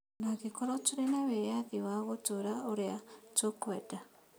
Ona angĩkorwo tũrĩ na wĩyathi wa gũtũũra ũrĩa tũkwenda